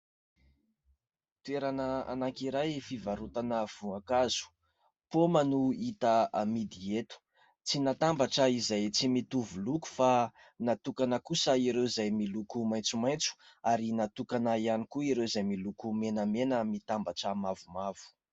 Toerana anankiray fivarotana voankazo. Paoma no hita amidy eto. Tsy natambatra izay tsy mitovy loko fa natokana kosa ireo izay miloko maitsomaitso ary natokana ihany koa ireo izay miloko menamena mitambatra mavomavo.